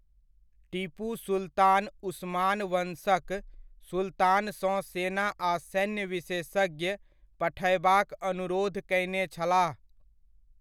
टीपू सुल्तान उस्मान वंशक सुल्तानसँ सेना आ सैन्य विशेषज्ञ पठयबाक अनुरोध कयने छलाह।